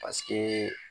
Paseke